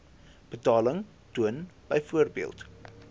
betaling toon byvoorbeeld